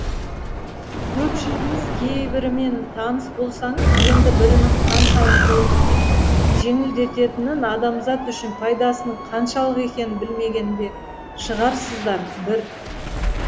көпшілігіңіз кейбірімен таныс болсаңыз енді бірінің қаншалықты өмірді жеңілдететінін адамзат үшін пайдасының қаншалық екенін білмеген де шығарсыздар бір